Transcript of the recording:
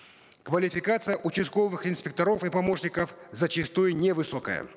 квалификация участковых инспекторов и помощников зачастую невысокая